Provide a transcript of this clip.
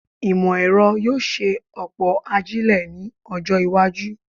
Ìmọ̀-ẹ̀rọ yóò ṣe ọ̀pọ̀ ajílẹ̀ ní ọjọ́-iwájú.